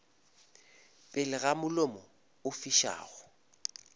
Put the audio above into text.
pele ga mollo o fišago